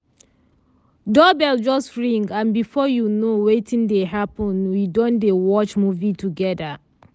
doorbell just ring and before you know wetin dey happen we don dey watch movie together.